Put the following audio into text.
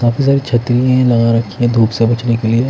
काफी सारी छतरी लगा रखी हैं धूप से बचने के लिए--